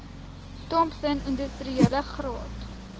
thompson industriele graad